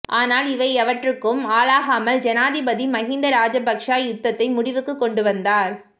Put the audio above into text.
ஆனால் இவை எவற்றுக்கும் ஆளாகாமல் ஜனாதிபதி மஹிந்த ராஜபக்ஷ யுத்தத்தை முடிவுக்கு கொண்டுவந்தார்